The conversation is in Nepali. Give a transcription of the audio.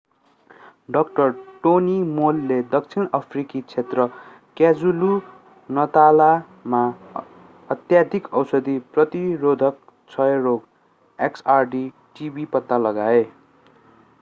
dr. tony moll ले दक्षिण अफ्रिकी क्षेत्र क्वाजुलु-नतालमा अत्यधिक औषधि प्रतिरोधक क्षयरोग xdr-tb पत्ता लगाए।